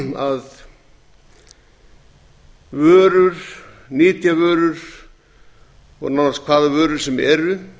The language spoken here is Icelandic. að vörur nytjavörur og nánast hvaða vörur sem